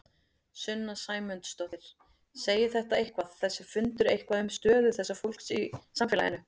Sunna Sæmundsdóttir: Segir þetta eitthvað, þessi fundur eitthvað um stöðu þessa fólks í samfélaginu?